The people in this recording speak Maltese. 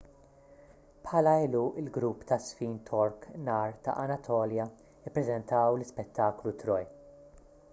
bħala għeluq il-grupp taż-żfin tork nar ta' anatolja ppreżentaw l-ispettaklu troy